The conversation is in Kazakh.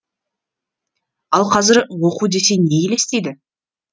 ал қазір оқу десе не елестейді